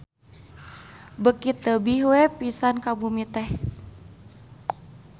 Beuki tebih pisan ka bumi teh.